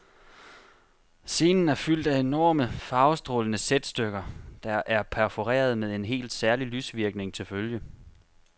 Scenen er fyldt af enorme, farvestrålende sætstykker, der er perforerede med en helt særlig lysvirkning til følge.